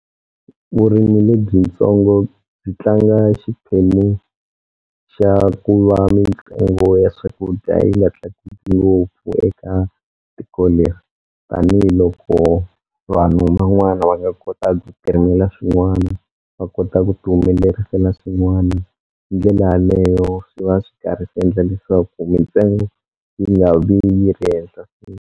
Vurimi lebyitsongo byi tlanga xiphemu xa ku va mintsengo ya swakudya yi nga tlakuki ngopfu eka tiko leri tanihiloko vanhu van'wana va nga kota ku ti rimela swin'wana va kota ku ti humelerisa na swin'wana hi ndlela yaleyo swi va swi karhi swi endla leswaku mintsengo yi nga vi yi ri henhla.